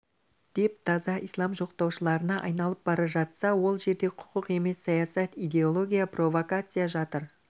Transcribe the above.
деп таза ислам жоқтаушыларына айналып бара жатса ол жерде құқық емес саясат идеология провакация жатыр